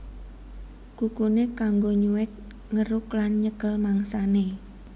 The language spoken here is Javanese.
Kukuné kanggo nyuwèk ngeruk lan nyekel mangsané